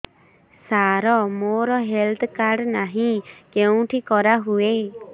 ସାର ମୋର health card ନାହିଁ କେଉଁଠି କରା ହୁଏ